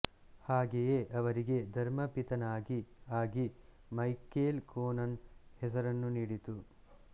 ಹಾಗೆಯೇ ಅವರಿಗೆ ಧರ್ಮಪಿತನಾಗಿ ಆಗಿ ಮೈಕೇಲ್ ಕೊನನ್ ಹೆಸರನ್ನು ನೀಡಿತು